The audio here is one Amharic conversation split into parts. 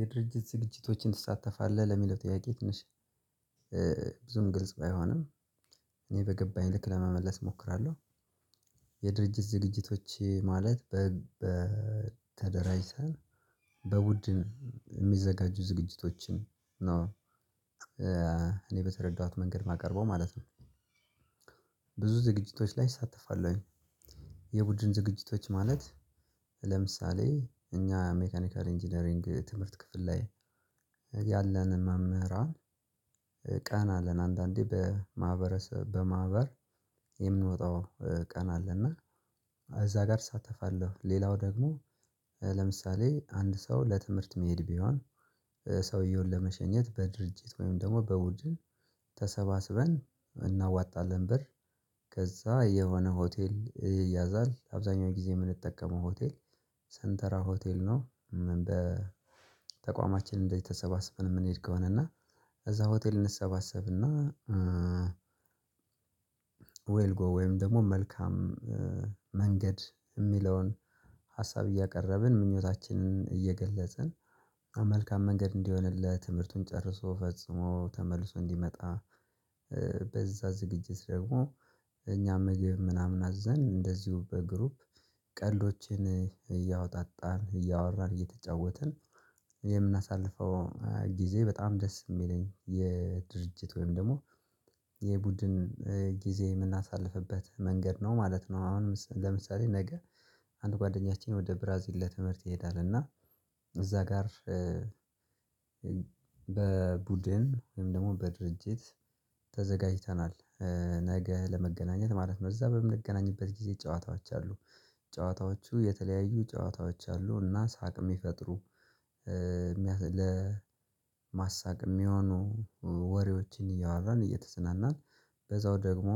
የድርጅት ዝግጅቶችን ትሳተፋለህ ለሚለው ጥያቄ ትንሽ ግልጽ ባይሆንም እኔ በገባኝ ልክ ለመመለስ እሞክራለሁ። የድርጅት ዝግጅቶች ማለት በተደራጅተን በቡድን የሚዘጋጁ ዝግጅቶችም ነው። እኔ በተረዳኋት መንገድ ማቀርበው ማለት ነው። ብዙ ዝግጅቶች ላይ እሳተፋለሁኝ። የቡድን ዝግጅቶች ማለት ለምሳሌ እኛ ሜካኒካል ኢንጂነሪንግ ትምህርት ክፍል ላይ ያለንን መምህራን። ቀን አለን አንዳንዴ በማህበረሰብ በማህበር የምንወጣው ቀን አለና እዛ ጋር እሳተፋለሁ። ሌላው ደግሞ ለምሳሌ አንድ ሰው ለትምህርት ሚሄድ ቢሆን ሰውየውን ለመሸኘት በድርጅት ወይም ደግሞ በቡድን ተሰባስበን እናዋጣለን ብር። ከዛ የሆነ ሆቴል ይያዛል አብዛኛው ጊዜ የምንጠቀመው ሆቴል ሰንተራ ሆቴል ነው። በተቋማችን እንዚ ተሰባስበን የምንሄድ ከሆነ እና እዛ ሆቴል እንሰባሰብና። ዌልጎ ወይም ደግሞ መልካም መንገድ የሚለውን ሀሳብ እያቀረብን ምኞታችንን እየገለጽን መልካም መንገድ እንዲሆንለት ትምህርቱን ጨርሶ ፈጽሞ ተመልሶ እንዲመጣ ዝግጅት ደግሞ። እኛም ምግብ ምናምን አዘን እንደዚሁ በግሩፕ ቀልዶችን እያወጣጣን እያወራን እየተጫወትን የምናሳልፈው ጊዜ በጣም ደስ የሚለኝ የድርጅት ወይም ደግሞ የቡድን ጊዜ የምናሳልፍበት መንገድ ነው ማለት ነው። አሁን ለምሳሌ ነገ አንድ ጓደኛችን ወደ ብራዚል ለትምህርት ይሄዳል እና እዛ ጋር። በቡድን ወይም ደግሞ በድርጅት ተዘጋጅተናል ነገ ለመገናኘት ማለት ነው። እዛ በምንገናኝበት ጊዜ ጨዋታዎች አሉ ጨዋታዎቹ የተለያዩ ጨዋታዎች አሉና ሳቅ የሚፈጥሩ ለማሳቅ የሚሆኑ ወሬዎችን እያወራን እየተዝናናን በዛው ደግሞ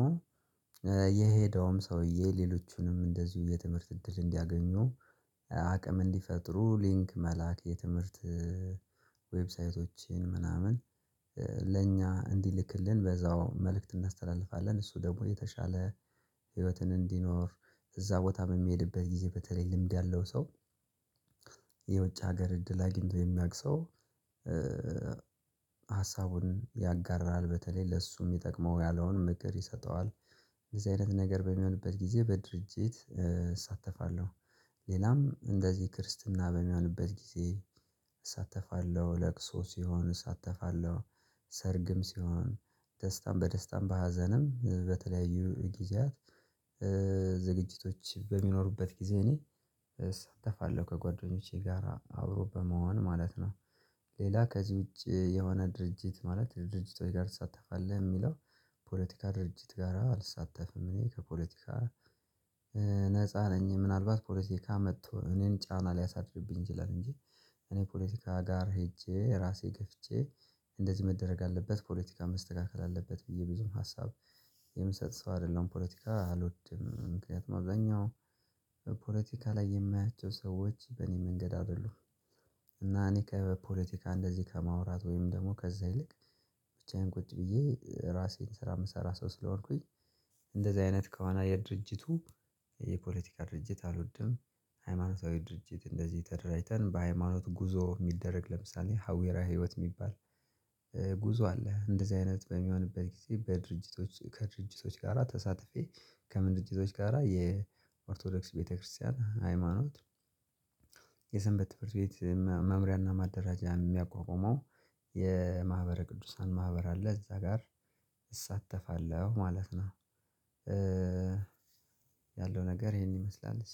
የሄደውም ሰውዬ ሌሎቹንም እንደዚሁ የትምህርት እድል እንዲያገኙ አቅም እንዲፈጥሩ ሊንክ መላክ የትምህርት ዌብሳይቶችን ምናምን። ለእኛ እንዲልክልን በዛው መልእክት እናስተላልፋለን እሱ ደግሞ የተሻለ ህይወትን እንዲኖር እዛ ቦታ የምሄድበት ጊዜ በተለይ ልምድ ያለው ሰው ሀገር እድል አግኝቶ የሚያቅ ሰው ሀሳቡን ያጋራል በተለይ ለሱ የሚጠቅመው ያለውን ምክር ይሰጠዋል። እንደዚህ አይነት ነገር በሚሆንበት ጊዜ በድርጅት እሳተፋለሁ። ሌላም እንደዚህ ክርስትና በሚሆንበት ጊዜ እሳተፋለሁ ለቅሶ ሲሆን እሳተፋለሁ። ሰርግም ሲሆን ደስታም በደስታም በሀዘንም በተለያዩ ጊዜያት ዝግጅቶች በሚኖሩበት ጊዜ እኔ እሳተፋለሁ ከጓደኞቼ ጋራ አብሮ በመሆን ማለት ነው። ሌላ ከዚህ ውጪ የሆነ ድርጅት ማለት ድርጅቶች ጋር ትሳተፋለህ የሚለው ፖለቲካ ድርጅት ጋራ አልሳተፍም። እኔ ከፖለቲካ ነፃ ነኝ። ምናልባት ፖለቲካ መጥቶ እኔን ጫና ሊያሳድድብኝ ይላል እንጂ እኔ ፖለቲካ ጋር ሄጄ ራሴ ገፍጄ እንደዚህ መደረግ አለበት ፖለቲካን መስተካከል አለበት ብዬ ብዙም ሀሳብ የምሰጥ ሰው አይደለም። ፖለቲካ አልወድም። ምክንያቱም አብዛኛው ፖለቲካ ላይ የማያቸው ሰዎች በእኔ መንገድ አይደሉም። እና እኔ ከፖለቲካ እንደዚህ ከማውራት ወይም ደግሞ ከዛ ይልቅ ብቻዬን ቁጭ ብዬ ራሴን ስራ የምሰራ ሰው ስለሆንኩኝ። እንደዚህ አይነት ከሆነ የድርጅቱ የፖለቲካ ድርጅት አልወድም። ሃይማኖታዊ ድርጅት እንደዚህ ተደራጅተን በሃይማኖት ጉዞ የሚደረግ ለምሳሌ ሀዊረ ህይወት የሚባል ጉዞ አለ እንደዚህ አይነት በሚሆንበት ጊዜ በድርጅቶች ከድርጅቶች ጋራ ተሳትፌ ከምድጅቶች ጋራ የኦርቶዶክስ ቤተክርስቲያን ሃይማኖት። የሰንበት ትምህርት ቤት መምሪያና ማደራጀያ የሚያቋቁመው የማህበረ ቅዱሳን ማህበር አለ እዛ ጋር እሳተፋለሁ ማለት ነው። ያለው ነገር ይሄን ይመስላልስ